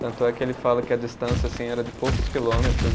Tanto é que ele fala que a distância assim era de poucos quilômetros.